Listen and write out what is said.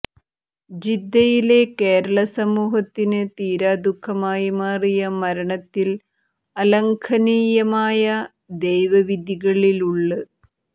ജിദ്ദയിലെ കേരള സമൂഹത്തിന് തീരാദുഃഖമായി മാറിയ മരണത്തിൽ അലംഘനീയമായ ദൈവവിധിയിലുള്